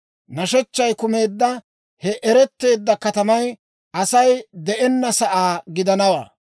Nashechchay kumeedda he eretteedda katamay Asay de'enna sa'aa gidanawaa!